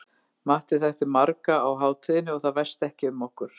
Matti þekkti marga á hátíðinni og það væsti ekki um okkur.